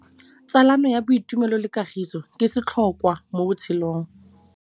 Tsalano ya boitumelo le kagiso ke setlhôkwa mo botshelong.